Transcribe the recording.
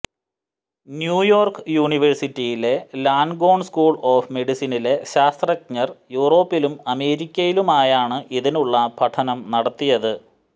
New York യൂണിവേഴ്സിറ്റിയിലെ Langone school of മെഡിസിനിലെ ശാസ്ത്രജ്ഞർ യൂറോപ്പിലും അമേരിക്കയിലുമായാണ് ഇതിനുള്ള പഠനം നടത്തിയത്